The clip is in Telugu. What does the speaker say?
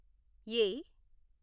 ఏ